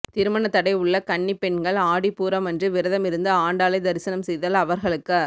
திருமணத்தடை உள்ள கன்னிப் பெண்கள் ஆடிப்பூரம் அன்று விரதம் இருந்து ஆண்டாளை தரிசனம் செய்தால் அவர்களுக்க